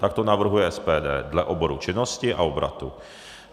Tak to navrhuje SPD - dle oboru činnosti a obratu.